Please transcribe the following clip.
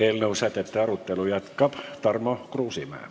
Eelnõu sätete arutelu jätkab Tarmo Kruusimäe.